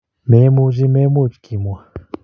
Memuchi memuch kimwa.